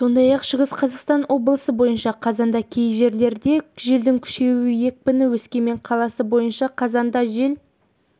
сондай-ақ шығыс қазақстан облысы бойынша қазанда кей жерлерде желдің күшеюі екпіні өскемен қаласы бойынша қазанда жел